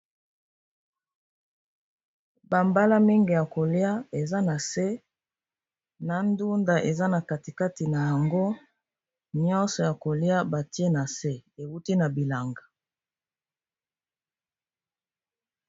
Ba mbala mingi ya kolia eza na se na ndunda eza na kati kati nango nyonso ya kolia batie na se ewuti na bilanga.